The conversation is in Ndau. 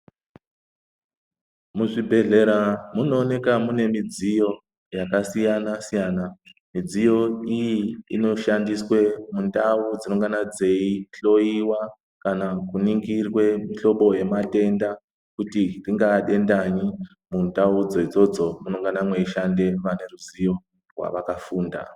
Muzvibhedhlera munowoneka munemidziyo yakasiyana siyana. Midziyo iyi, inoshandiswe mundau dzinongana dzeyihloyiwa kana kuningirwe mihlobo yematenda kuti ringaha denda nyi, mundau dzodzodzo munongana mweyishande vanezveruzivo wavakafunda.